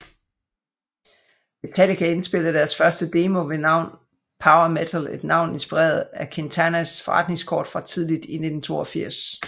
Metallica indspillede deres første demo ved navn Power Metal et navn inspireret af Quintanas forretningskort fra tidligt i 1982